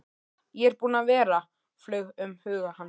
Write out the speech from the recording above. Ég er búinn að vera, flaug um huga hans.